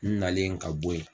N' nalen ka bɔ yen.